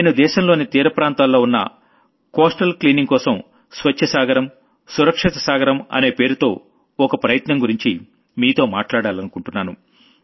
నేను దేశంలోని తీర ప్రాంతాల్లో ఉన్న కోస్టల్ క్లీనింగ్ కోసం స్వచ్ఛమైన సాగరం సురక్షితమైన సాగరం అనే పేరుతో ఒక ప్రయత్నం గురించి మీతో మాట్లాడాలనుకుంటున్నాను